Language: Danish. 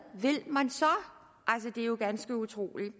vil man så altså det er jo ganske utroligt